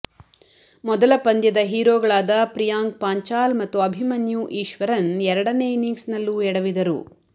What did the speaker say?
ಮೊದಲ ಪಂದ್ಯದ ಹೀರೊಗಳಾದ ಪ್ರಿಯಾಂಕ್ ಪಾಂಚಾಲ್ ಮತ್ತು ಅಭಿಮನ್ಯು ಈಶ್ವರನ್ ಎರಡನೇ ಇನಿಂಗ್ಸ್ನಲ್ಲೂ ಎಡವಿದರು